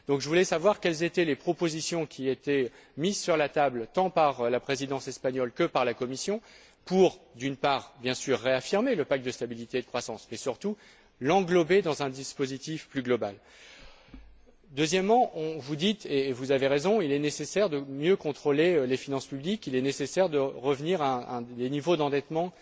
Je voudrais donc savoir quelles sont les propositions mises sur la table tant par la Présidence espagnole que par la Commission pour, bien sûr, réaffirmer le pacte de stabilité et de croissance et surtout l'englober dans un dispositif plus global. Deuxièmement, vous dites et vous avez raison qu'il est nécessaire de mieux contrôler les finances publiques, qu'il est nécessaire de revenir à des niveaux d'endettement